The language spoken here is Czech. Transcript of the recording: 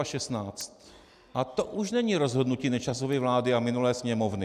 A to už není rozhodnutí Nečasovy vlády a minulé Sněmovny.